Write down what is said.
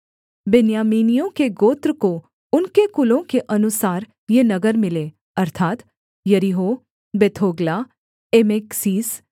बिन्यामीनियों के गोत्र को उनके कुलों के अनुसार ये नगर मिले अर्थात् यरीहो बेथोग्ला एमेक्कसीस